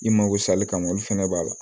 I mago sali kama olu fɛnɛ b'a la